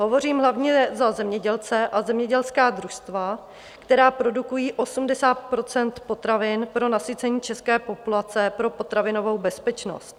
Hovořím hlavně za zemědělce a zemědělská družstva, která produkují 80 % potravin pro nasycení české populace pro potravinovou bezpečnost.